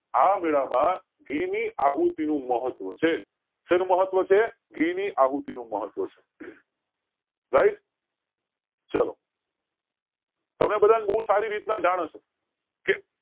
આ મેળા માં ઘી ની આહુતિ નું મહત્વ છે સેનું મહત્વ છે ઘી ની આહુતિ નું મહત્વ છે હમ right ચાલો તમને બધા ને બોવ સારી રીતે જાણ હશે કે